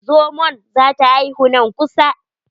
Zomon za ta haihu nan kusa.